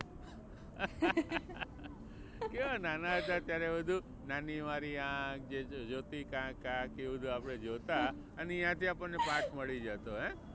કેવા નાના હતા ત્યારે બધુ નાની મારી આંખ જે જોતી ક્યાંક ક્યાંક એ બધું આપણે જોતા અને ત્યાંથી આપણને પાથ મળી જતો હે.